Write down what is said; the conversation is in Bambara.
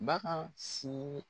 Bagan su